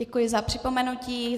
Děkuji za připomenutí.